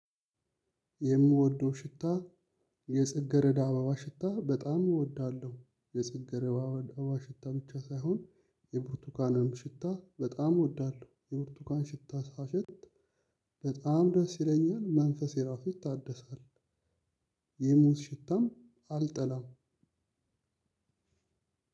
የምወደው ሽታ የጽጌረዳ አባባ ሽታ በጣም እወዳለሁ የጽጌረዳ አባባ ሽታ ብቻ ሳይሆን የብርቱካንም ሽታ በጣም እወዳለሁ የብርቱካን ሽታ ሳሸት በጣም ደስ ይለኛል መንፈሴ ራሱ ታደሳል። የሙዝ ሽታም አልጠላም።